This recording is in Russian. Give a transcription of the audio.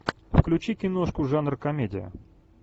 включи киношку жанр комедия